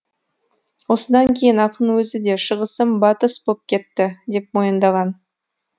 осыдан кейін ақын өзі де шығысым батыс боп кетті деп мойындаған